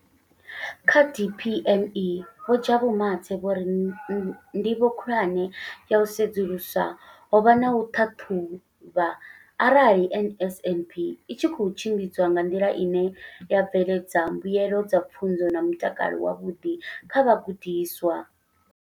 Kha DPME, Vho Jabu Mathe, vho ri ndivho khulwane ya u sedzulusa ho vha u ṱhaṱhuvha arali NSNP i tshi khou tshimbidzwa nga nḓila ine ya bveledza mbuelo dza pfunzo na mutakalo wavhuḓi kha vhagudiswa.